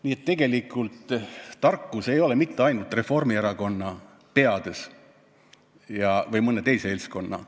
Nii et tegelikult ei ole tarkus mitte ainult Reformierakonna või mõne teise seltskonna peades.